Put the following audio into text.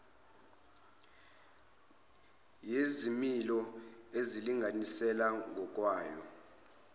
yezimilo elinganisela ngokwayo